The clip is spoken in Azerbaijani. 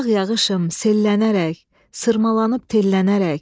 Yağ yağışım, sellənərək, sırmalanıb tellənərək.